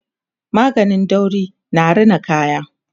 maganin dauri na Rina kaya